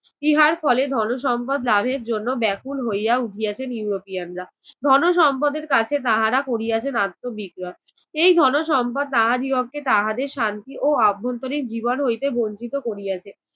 ইহার ফলে ধনো সম্পদ লাভের জন্য ব্যাকুল হইয়া উঠিয়াছেন ইউরোপিয়ানরা। ধনো সম্পদের কাছে তাহারা করিয়াছেন আত্ম । এই ধনো সম্পদ তাহাদিগকে তাহাদের শান্তি ও আভ্যন্তরীন জীবন হইতে বঞ্চিত করিয়াছে।